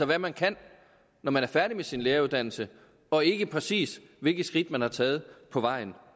hvad man kan når man er færdig med sin læreruddannelse og ikke præcis hvilke skridt man har taget på vejen